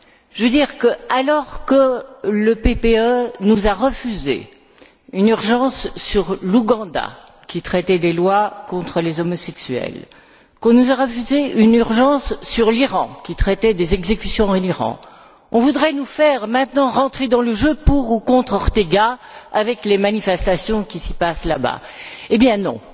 Je veux dire que, alors que le PPE nous a refusé une urgence sur l'Ouganda, qui traitait des lois contre les homosexuels, qu'on nous refusé une urgence sur l'Iran, qui traitait des exécutions en Iran, on voudrait maintenant nous faire entrer dans le jeu pour ou contre Ortega, avec les manifestations qui se passent là bas. Eh bien, non!